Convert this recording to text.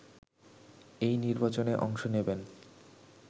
এই নির্বাচনে অংশ নেবেন